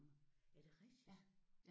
Er det rigtigt?